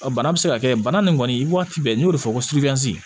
bana bɛ se ka kɛ bana nin kɔni waati bɛɛ n'i y'o de fɔ